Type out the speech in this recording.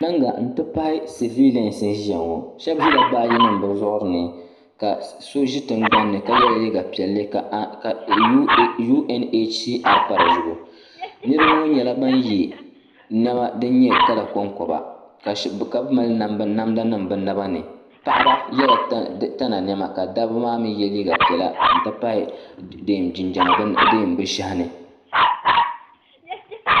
Piringa n ti pahi sabilanima n ʒia ŋɔ sheba ʒila baaji nima bɛ zuɣuri ni ka so ʒi tingbani ka yela liiga piɛli ka UNHCR pa di zuɣu niriba ŋɔ nyɛla ban ye niɛma din nyɛ kala konkoba ka bɛ mali namda nima bɛ naba ni paɣaba yela tana niɛma ka dabba maa mee ye liiga piɛla n ti pahi jinjiɛma bɛ shehi ni.